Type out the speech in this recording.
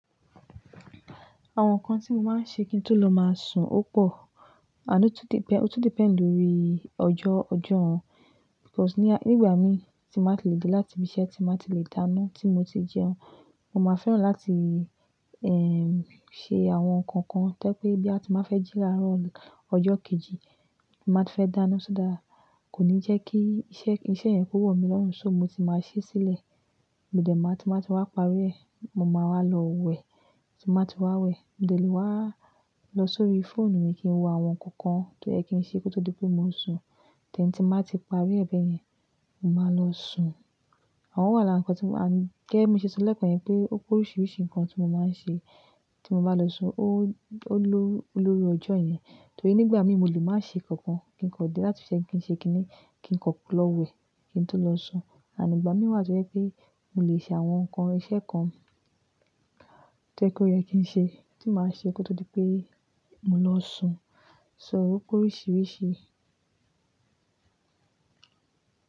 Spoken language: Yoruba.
Àwọn nǹkan tí mo máa ń ṣe kí n tó lọ máa sun ó pọ̀, ànd tun depend-- ó tun depend lórí ọjọ́-ọjọ́ wọn. Because nígbà mi tí bà n ti lè dé láti ibi iṣẹ́ tí bà n ti lè dáná tí mo ti jẹun, mo máa fẹ́ràn láti, ehn, ṣe àwọn nǹkan kan tó pé bí a bá ti máa fẹ́ jí láàárọ̀ ọjọ́ kejì, màá ti fẹ́ dáná so that. Kò ní jẹ́ kí iṣẹ́ yẹn kó wọ̀ mí lọ́run, so mo ti máa ṣe sílẹ̀. Mo de màá, ti ba ti wà parí ẹ̀, mo máa wà lọ wẹ̀, tí màá ti wà wẹ̀, mo lè wá lọ sórí fóònù mi kí n wo àwọn kọọkan tó yẹ kí n ṣe kó tó di pé mo sùn. Tori tí màá ti parí ẹ̀ bẹ̀ yẹn, mo máa lọ sùn. O wà lara nkan tí mo ma ń gẹ́gẹ́ bi mo ṣe sọ lẹ́ẹ̀kan yẹn pé oríṣiríṣi nǹkan tí mo máa ń ṣe tí mo bá lọ sun. Ó ló-lórí ọjọ́ yẹn. Nítorí nígbà mi mo lè máa ṣe kankan kí n kan dé láti ibi iṣẹ́ kí n ṣe kí ni kí n kó lọ wẹ̀ kí n tó lọ sùn. Igbà mi wà tó jẹ́ pé mo lè ṣe àwọn nǹkan, iṣẹ́ kan tó yẹ kí n ṣe tí màá ṣe kó tó di pé mo lọ sùn. So ó kú oríṣiríṣi.